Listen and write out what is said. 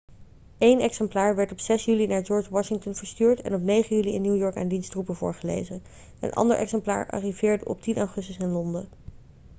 eén exemplaar werd op 6 juli naar george washington verstuurd en op 9 juli in new york aan diens troepen voorgelezen een ander exemplaar arriveerde op 10 augustus in londen